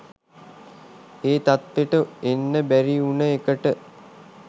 ඒ තත්ත්වෙට එන්න බැරි උන එකට